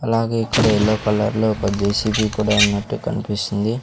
అలాగే ఇక్కడ yellow colour లో ఒక జె_సి_బి కూడా ఉన్నట్టు కన్పిస్తుంది.